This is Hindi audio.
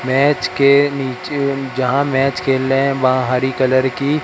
मैच के नीचे जहां मैच खेल रहे हैं वहां हरी कलर की--